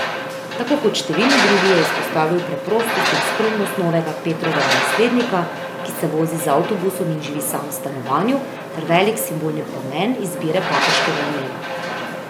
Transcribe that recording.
Tako kot številni drugi je izpostavil preprostost in skromnost novega Petrovega naslednika, ki se vozi z avtobusom in živi sam v stanovanju, ter velik simbolni pomen izbire papeškega imena.